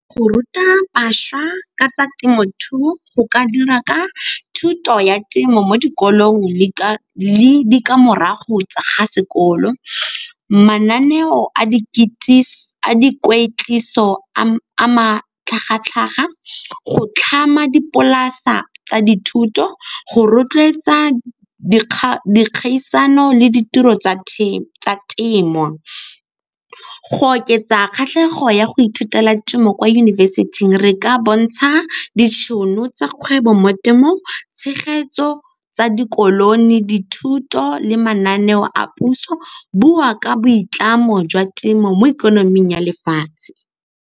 Go ruta bašwa ka tsa temothuo, go ka dira ka thuto ya temo mo dikolong le ditlamorago tsa ga sekolo, mananeo a matlhagatlhaga, go tlhama dipolasa tsa dithuto, go rotloetsa dikgang, dikgaisano le ditiro tsa temo. Go oketsa kgatlhego ya go ithutela temo kwa yunibesithing re ka bontsha ditšhono tsa kgwebo mo temong, tshegetso tsa di , dithuto le mananeo a puso, bua ka boitlamo jwa temo mo ikonoming ya lefatshe.